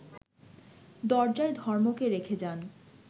দরজায় ধর্মকে রেখে যান